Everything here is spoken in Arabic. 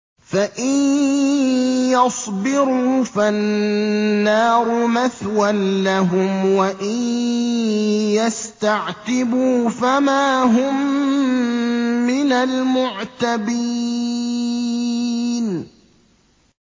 فَإِن يَصْبِرُوا فَالنَّارُ مَثْوًى لَّهُمْ ۖ وَإِن يَسْتَعْتِبُوا فَمَا هُم مِّنَ الْمُعْتَبِينَ